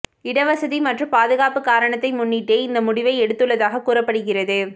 இடவசதி மற்றும் பாதுகாப்பு காரணத்தை முன்னிட்டே இந்த முடிவை எடுத்துள்ளதாக கூறப்படுகிறது